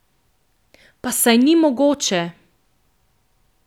Pa saj ni mogoče.